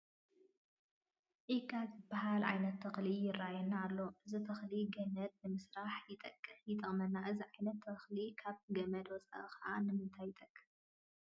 ዒቃ ዝበሃል ዓይነት ተኽሊ ይርአየና ኣሎ፡፡ እዚ ተኽሊ ገመድ ንምስራሕ ይጠቕመና፡፡ እዚ ዓይነት ተኽሊ ካብ ገመድ ወፃኢ ኸ ንምንታይ ይጠቅም?